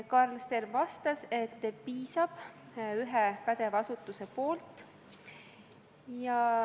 Karl Stern vastas, et piisab ühest pädevast asutusest.